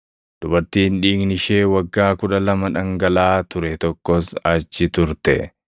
Dubartiin dhiigni ishee waggaa kudha lama dhangalaʼaa ture tokkos achi turte.